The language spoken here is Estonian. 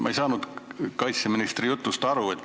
Ma ei saanud kaitseministri jutust aru.